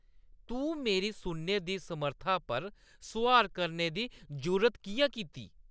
तूं मेरी सुनने दी समर्था पर सुआल करने दी जुर्त किʼयां कीती?